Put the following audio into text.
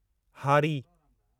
हारी